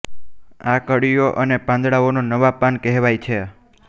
આ કળીઓ અને પાંદડાઓને નવા પાન કહેવાય છે